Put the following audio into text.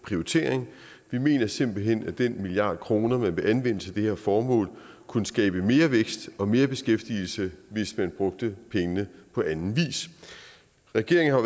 prioritering vi mener simpelt hen at den milliard kroner man vil anvende til det her formål kunne skabe mere vækst og mere beskæftigelse hvis man brugte pengene på anden vis regeringen har